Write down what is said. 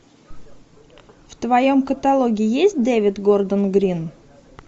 в твоем каталоге есть дэвид гордон грин